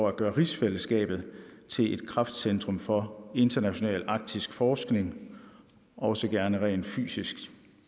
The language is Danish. at gøre rigsfællesskabet til et kraftcentrum for international arktisk forskning også gerne rent fysisk